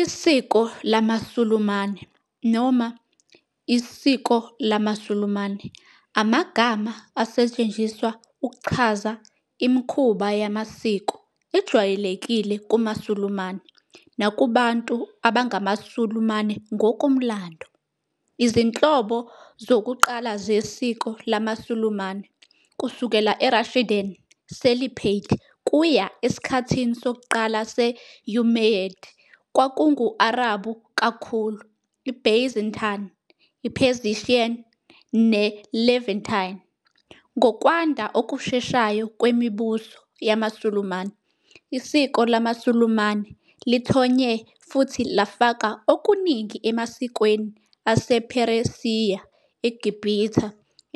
Isiko lamaSulumane noma isiko lamaSulumane amagama asetshenziswa ukuchaza imikhuba yamasiko ejwayelekile kumaSulumane nakubantu abangamaSulumane ngokomlando. Izinhlobo zokuqala zesiko lamaSulumane, kusukela eRashidun Caliphate kuya esikhathini sokuqala se- Umayyad, kwakungu- Arabhu kakhulu, iByzantine, iPersian neLevantine. Ngokwanda okusheshayo kwemibuso yamaSulumane, isiko lamaSulumane lithonye futhi lafaka okuningi emasikweni asePheresiya, eGibhithe,